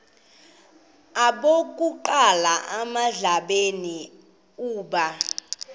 okokuqala emhlabeni uba